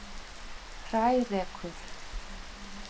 Hrærekur